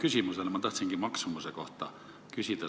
Tegelikult ma tahtsingi maksumuse kohta küsida.